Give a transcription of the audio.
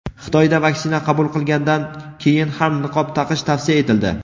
Xitoyda vaksina qabul qilgandan keyin ham niqob taqish tavsiya etildi.